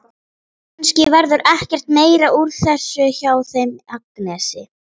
Kannski verður ekkert meira úr þessu hjá þeim Agnesi.